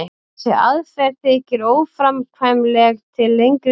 þessi aðferð þykir óframkvæmanleg til lengri tíma